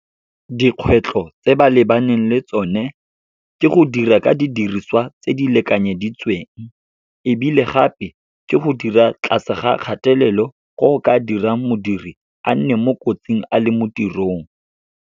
Dikgwetlho tse ba lebaneng le tsone, ke go dira ka didiriswa tse di lekanyeditsweng. Ebile gape, ke go dira tlase ga kgatelelo go go ka dirang modiri a nne mo kotsing, a le mo tirong.